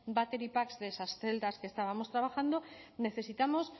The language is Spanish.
battery pack de esas celdas que estábamos trabajando necesitamos